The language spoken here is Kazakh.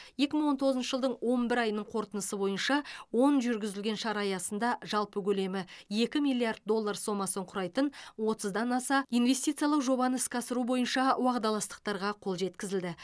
екі мың он тоғызыншы жылдың он бір айының қорытындысы бойынша он жүргізілген шара аясында жалпы көлемі екі миллиард доллар сомасын құрайтын отызда аса инвестициялық жобаны іске асыру бойынша уағдаластықтарға қол жеткізілді